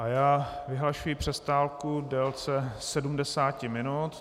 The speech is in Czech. A já vyhlašuji přestávku v délce 70 minut.